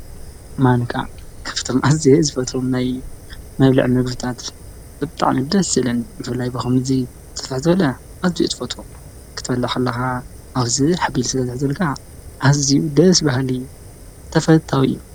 ማንካ ካፍቶም ዓዝ ዝፈቶም ናይ መልዕ መግብታት ብጥዕምደ ስለን ይፈላይ በኸምኒ እዙይ ዘፈሕዘለ ኣዚ ትፈቶ ክትበላኽለኻ ኣውዝ ኅቢል ስለ ዘሕዘልካ ኣዚ ደስ በህሊ ተፈታዊ እዩ ።